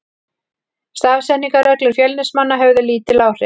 Stafsetningarreglur Fjölnismanna höfðu lítil áhrif.